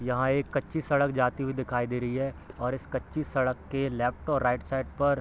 यहाँ एक कच्ची सड़क जाते हुई दिखाई दे रही है और इस कच्ची सड़क के लेफ्ट और राइट साइड पर --